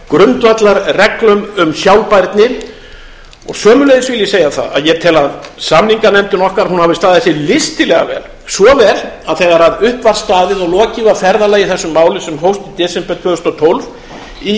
grundvallarreglum um sjálfbærni sömuleiðis vil ég segja það að ég tel að samninganefndin okkar hafi staðið sig listilega vel svo vel að þegar upp var staðið og lokið var ferðalagi í þessu máli sem hófst í desember tvö þúsund og tólf í